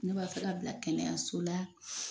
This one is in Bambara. Ne b'a fɛ ka bila kɛnɛyaso la.